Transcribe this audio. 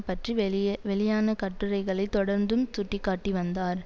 பற்றி வெளியவெளியான கட்டுரைகளை தொடர்ந்தும் சுட்டி காட்டி வந்தார்